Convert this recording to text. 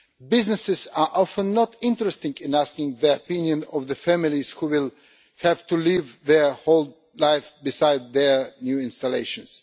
Businesses are often not interested in asking the opinion of the families who will have to live beside their new installations.